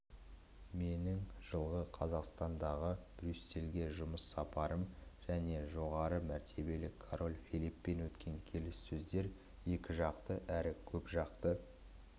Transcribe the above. менің жылғы қазандағы брюссельге жұмыс сапарым және жоғары мәртебелі король филиппен өткен келіссөздер екіжақты әрі көпжақты